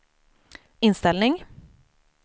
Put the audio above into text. inställning